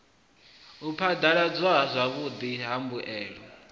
u phadaladzwa zwavhudi ha mbuelo